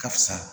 Ka fisa